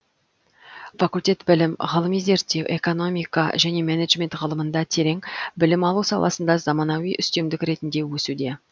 факультет білім ғылыми зерттеу экономика және менеджмент ғылымында терең білім алу саласында заманауи үстемдік ретінде өсуде